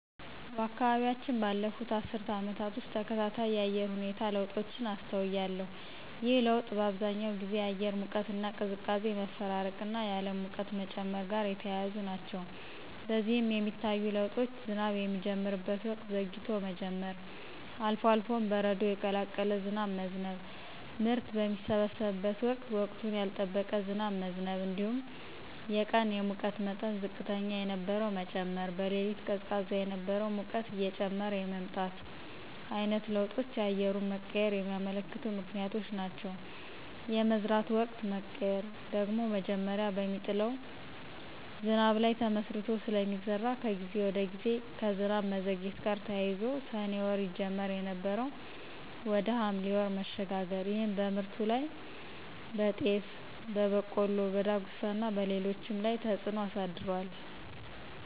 በአካባቢያችን ባለፉት አስርት ዓመታት ውስጥ ተከታታይ የአየር ሁኔታ ለውጦችን አስተውያለሁ። ይህ ለውጥ በአብዛኛው ጊዜ የአየር ሙቀትና ቅዝቃዜ መፈራረቅና የዓለም ሙቀት መጨመር ጋር የተያያዙ ናቸው። በዚህም የሚታዩ ለውጦች ዝናብ የሚጀምርበት ወቅት ዘግይቶ መጀመር፣ አልፎ አልፎም በረዶ የቀላቀለ ዝናብ መዝነብ፣ ምርት በሚሰበሰብበት ወቅት ወቅቱን ያልጠበቀ ዝናብ መዝነብ እንዲሁም የቀን የሙቀት መጠን ዝቅተኛ የነበረው መጨመር፣ በሌሊት ቀዝቃዛ የነበረው ሙቀት እየጨመረ የመምጣት ዓይነት ለውጦች የአየሩን መቀየር የሚያመለክቱ ምክንያቶች ናቸው። የመዝራት ወቅት መቀየር ደግሞ መጀመሪያ በሚጥለው ዝናብ ላይ ተመስርቶ ስለሚዘራ ከጊዜ ወደ ጊዜ ከዝናብ መዘግየት ጋር ተያይዞ ሰኔ ወር ይጀመር የነበረው ወደ ሐምሌ ወር መሸጋገር ይህም በምርቱ ላይ (በጤፍ፣ በቆሎ፣ በዳጉሳና በሌሎችም) ላይ ተፅዕኖ አሳድሯል።